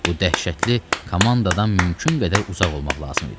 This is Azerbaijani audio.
Bu dəhşətli komandadan mümkün qədər uzaq olmaq lazım idi.